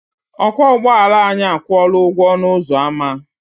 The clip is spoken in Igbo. Ọkwọ ụgbọala anyị akwụọla ụgwọ ọnụ ụzọ ama.